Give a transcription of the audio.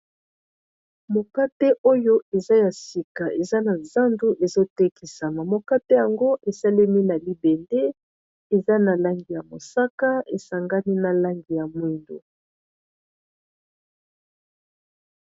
Mokate oyo eza ya sika eza na zandu ezo tekisama, mokate yango esalemi na libende eza na langi ya mosaka esangani na langi ya mwindu.